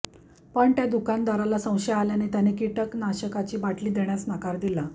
पण त्या दुकानदाराला संशय आल्याने त्याने किटनाशकाची बाटली देण्यास नकार दिला